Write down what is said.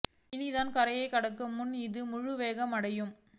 இனிதான் கரையை கடக்கும் முன் இது முழு வேகம் அடையும்